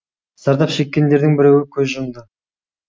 зардап шеккендердің біреуі көз жұмды